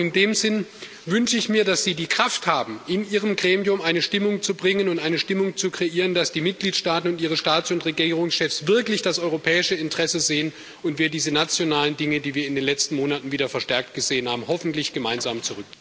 In dem Sinne wünsche ich mir, dass Sie die Kraft haben, in Ihrem Gremium eine Stimmung zu bringen und eine Stimmung zu kreieren, dass die Mitgliedstaaten und ihre Staats und Regierungschefs wirklich das europäische Interesse sehen und wir diese nationalen Dinge, die wir in den letzten Monaten wieder verstärkt gesehen haben, hoffentlich gemeinsam zurück...